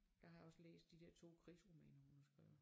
Jeg har også læst de dér to krisromaner hun har skrevet